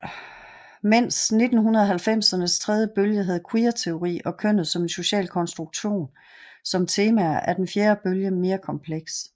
Medens 1990ernes tredje bølge havde queerteori og kønnet som en social konstruktion som temaer er den fjerde bølge mere kompleks